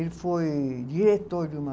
Ele foi diretor de uma